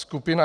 Skupina